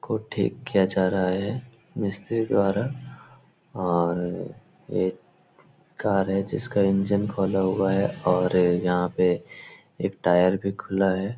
को ठीक किया जा रहा है मिस्त्री द्वारा और एक कार है जिसका इंजन खोला हुआ है और यहाँ पे एक टायर भी खुला है।